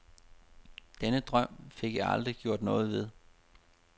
Den drøm fik jeg aldrig gjort noget ved.